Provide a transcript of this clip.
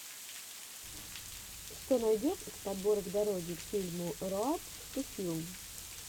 что найдешь из подборок дороги к фильму роад ту филм